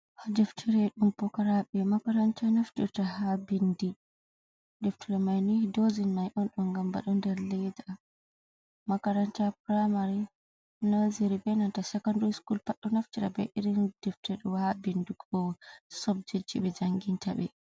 Da deftira e dum pokarabe makaranta naftirta ha bindi deftia mai ni dozi mai on don gam bedo nder leda makaranta primari nerzery benata sakandare schol paɗdo naftira be irin defte do ha binduko sobjecji be janginta be.